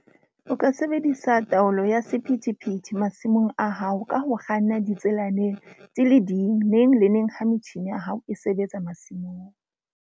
O ka sebedisa taolo ya sephethephethe masimong a hao ka ho kganna ditselaneng di le ding neng le neng ha metjhine ya hao e sebetsa masimong.